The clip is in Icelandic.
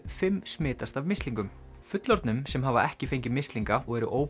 fimm smitast af mislingum fullorðnum sem hafa ekki fengið mislinga og eru